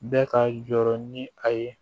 Bɛɛ ka jɔrɔ ni a ye